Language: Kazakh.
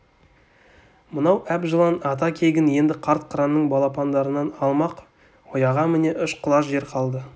мынау әп жылан ата кегін енді қарт қыранның балапандарынан алмақ ұяға міне үш құлаш жер қалды